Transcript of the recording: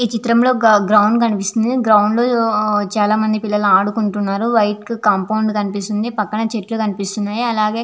ఈ చిత్రం లో గ గ్రౌండ్ కనిపిస్తుంది గ్రౌండ్ లో ఆ చాల మంది పిల్లలు ఆడుకుంటున్నారు వైట్ కాంపౌండ్ కనిపిస్తుంది పక్కన చేట్లు కనిపిస్తున్నాయి అలాగే --